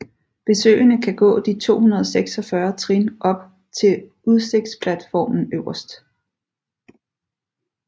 Besøgende kan gå de 246 trin op til udsigtsplatformen øverst